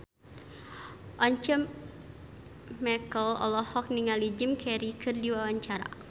Once Mekel olohok ningali Jim Carey keur diwawancara